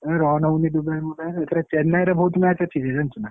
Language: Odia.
ଏ run ହଉନି ଦୁବାଇ ମୁବାଇ ରେ ଏଇଥର ମୁମ୍ବାଇ ବହୁତ match ଅଛି ଯେ ଜାଣିଛୁ ନା।